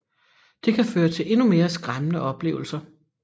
Det kan føre til endnu mere skræmmende oplevelser